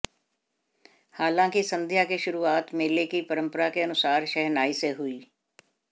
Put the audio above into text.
हालांकि संध्या की शुरुआत मेले की परंपरा के अनुसार शहनाई से हुई